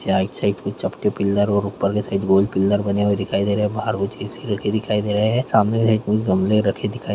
आइड side से चपटे pillar और ऊपर के साइड गोल पिल्लर बने हुए दिखाई दे रहे हैं बाहर ऊँची सी खिड़की दिखाई दे रहे है सामने एक फूल गमले में रखे दिखाई दे रहे है।